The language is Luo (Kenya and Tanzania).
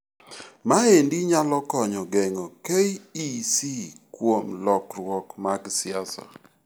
Maendi nyalo konyo geng'o KEC kuom lokruok mag siasa.